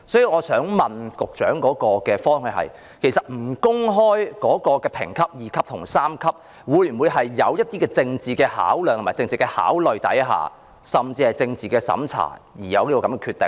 我想問局長，審裁處不公開其評級屬第 II 類或第 III 類，是否在政治考慮下甚至是政治審查下而有此決定？